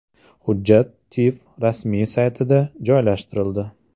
Hujjat TIV rasmiy saytida joylashtirildi .